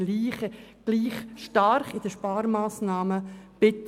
Es ist bezüglich der Sparmassnahmen nicht gleich stark.